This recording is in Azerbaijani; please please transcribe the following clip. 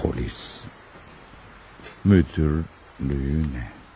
Polis müdürlüyünə.